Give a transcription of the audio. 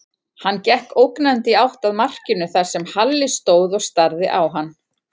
Hann gekk ógnandi í átt að markinu þar sem Halli stóð og starði á hann.